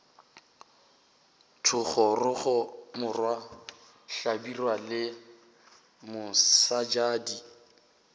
thogorogo morwa hlabirwa le mosebjadi